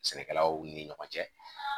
Sɛnɛkɛlaw ni ɲɔgɔn cɛ